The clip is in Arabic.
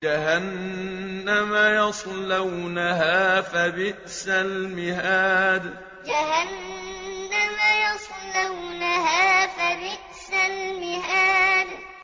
جَهَنَّمَ يَصْلَوْنَهَا فَبِئْسَ الْمِهَادُ جَهَنَّمَ يَصْلَوْنَهَا فَبِئْسَ الْمِهَادُ